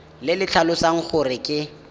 le le tlhalosang gore ke